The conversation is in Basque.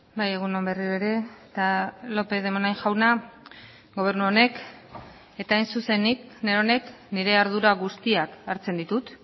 bai egun on berriro ere eta lópez de munain jauna gobernu honek eta hain zuzen nik neronek nire ardura guztiak hartzen ditut